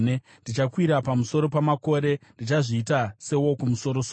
Ndichakwira pamusoro-soro pamakore; ndichazviita seWokumusoro-soro.”